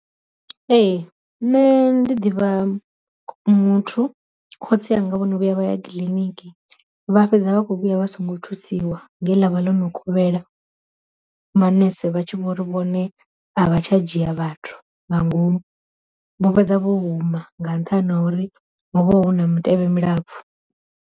Ee ṋne ndi ḓivha muthu, khotsi anga vhono vhuya vha ya kiḽiniki vha fhedza vha kho vhuya vha songo thusiwa ngei ḽa vha ḽo no kovhela, manese vha tshi vhori vhone a vha tsha dzhia vhathu nga ngomu, vho fhedza vho huma nga nṱhani ha uri ho vha hu na mutevhe mulapfu.